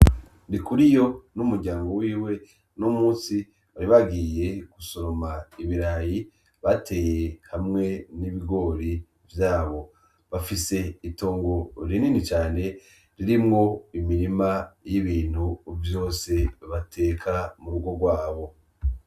Ndikuriyo n'umuryango wiwe, uno musi bari bagiye gusoroma ibirayi bateye hamwe n'ibigori vyabo. Bafise itongo rinini cane ririmwo imirima y'ibintu vyose bateka mu rugo gwabo.